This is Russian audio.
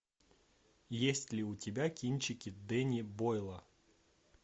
есть ли у тебя кинчики дэнни бойла